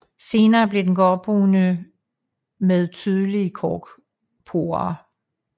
Senere bliver den gråbrun med tydelige korkporer